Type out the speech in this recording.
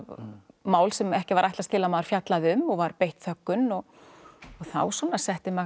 mál sem ekki var ætlast til að maður fjallaði um og var beitt þöggun þá svona setti maður